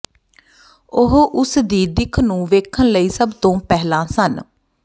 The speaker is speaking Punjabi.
ਉਹ ਉਸਦੀ ਦਿੱਖ ਨੂੰ ਵੇਖਣ ਲਈ ਸਭ ਤੋਂ ਪਹਿਲਾਂ ਸਨ